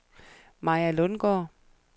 Maja Lundgaard